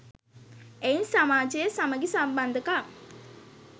එයින් සමාජයේ සමඟි සම්බන්ධකම්